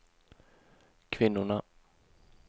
kvinnorna